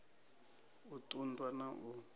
u ṱun ḓwa na u